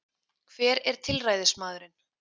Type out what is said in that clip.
Hver er tilræðismaðurinn